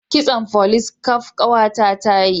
Kitson folis kaf kawa ta ta yi